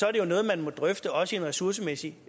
er det jo noget man må drøfte også i en ressourcemæssig